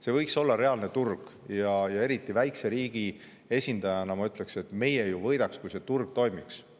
See võiks olla reaalne turg, ja eriti väikese riigi esindajana ma ütleksin, et meie ju võidaksime sellest, kui see turg toimiks.